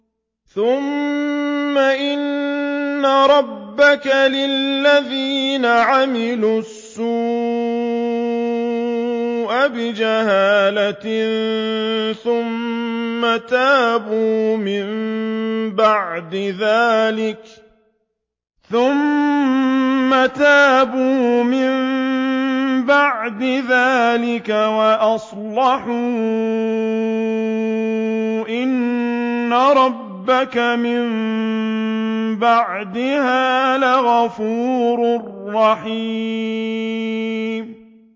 ثُمَّ إِنَّ رَبَّكَ لِلَّذِينَ عَمِلُوا السُّوءَ بِجَهَالَةٍ ثُمَّ تَابُوا مِن بَعْدِ ذَٰلِكَ وَأَصْلَحُوا إِنَّ رَبَّكَ مِن بَعْدِهَا لَغَفُورٌ رَّحِيمٌ